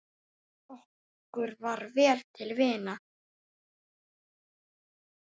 Okkur var vel til vina.